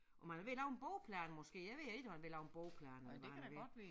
Om han er ved at lave en bordplan måske jeg ved ikke om han er ved at lave en bordplan eller hvad han er ved